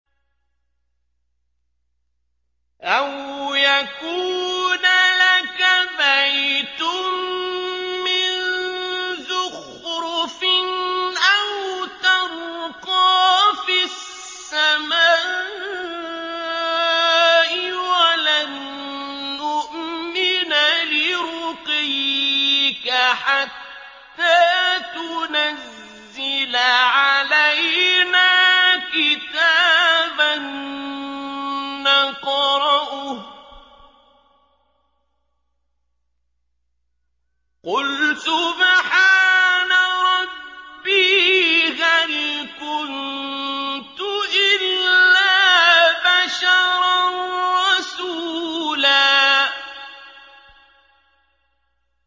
أَوْ يَكُونَ لَكَ بَيْتٌ مِّن زُخْرُفٍ أَوْ تَرْقَىٰ فِي السَّمَاءِ وَلَن نُّؤْمِنَ لِرُقِيِّكَ حَتَّىٰ تُنَزِّلَ عَلَيْنَا كِتَابًا نَّقْرَؤُهُ ۗ قُلْ سُبْحَانَ رَبِّي هَلْ كُنتُ إِلَّا بَشَرًا رَّسُولًا